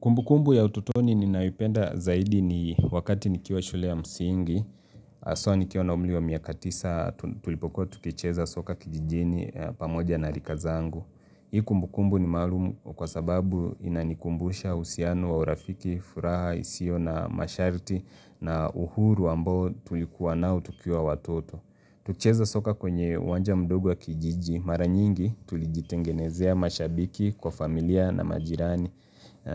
Kumbukumbu ya ututoni ninaipenda zaidi ni wakati nikiwa shule ya msingi, haswa nikiwa na umri wa miaka tisa tulipoku tukicheza soka kijijini pamoja na rikazangu. Hii kumbukumbu ni maluumu kwa sababu inanikumbusha usiano wa urafiki, furaha, isio na masharti na uhuru ambo tulikuwa nao tukiwa watoto. Tucheza soka kwenye uwanja mdogo wa kijiji maranyingi tulijitengenezea mashabiki kwa familia na majirani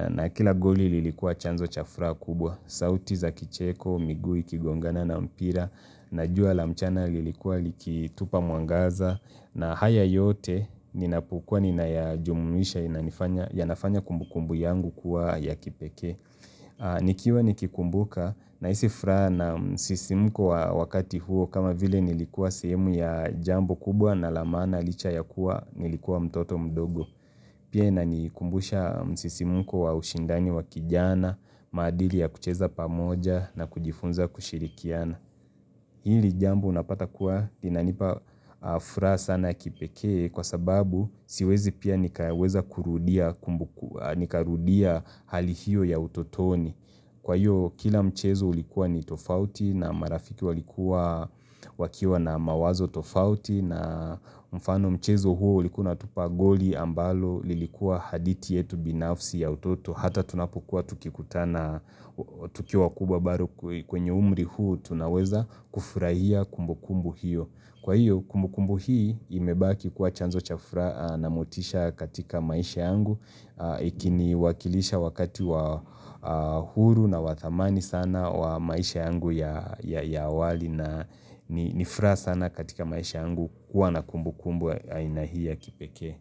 na kila goli lilikuwa chanzo cha furaha kubwa. Sauti za kicheko, miguu, igongana na mpira na jua la mchana lilikuwa likitupa mwangaza na haya yote ninapukua ninayajumumisha inanifanya yanafanya kumbu kumbu yangu kuwa ya kipekee. Nikiwa nikikumbuka na hisi furaha na msisimuko wa wakati huo kama vile nilikuwa sehemu ya jambo kubwa na lamana licha ya kuwa nilikuwa mtoto mdogo Pia inani kumbusha msisimuko wa ushindani wa kijana, maadili ya kucheza pamoja na kujifunza kushirikiana Hili jambo unapata kuwa linanipa furaha sana kipekee kwa sababu siwezi pia nikaweza kurudia kumbu nikarudia hali hiyo ya utotoni. Kwa hiyo kila mchezo ulikuwa ni tofauti na marafiki walikuwa wakiwa na mawazo tofauti na mfano mchezo huo ulikuwa natupa goli ambalo lilikuwa haditi yetu binafsi ya utoto. Hata tunapokua tukikutana tukiwa wakubwa bado kwenye umri huu, tunaweza kufurahia kumbu kumbu hiyo. Kwa hiyo, kumbu kumbu hii imebaki kuwa chanzo chafura na motisha katika maisha yangu. Ikiniwakilisha wakati wa huru na wadhamani sana wa maisha yangu ya ya awali na ni nifuraha sana katika maisha yangu kuwa na kumbu kumbu ya ainahii ya kipeke.